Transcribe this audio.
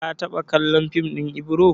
Ka taɓa kallon fim ɗin Ibro?